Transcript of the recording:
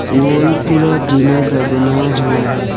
Wall पूरा टीना का बना हुआ है।